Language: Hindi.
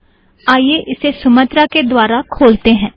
आईये इसे सुमात्रा के द्वारा खोलतें हैं